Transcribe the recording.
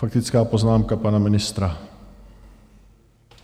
Faktická poznámka pana ministra.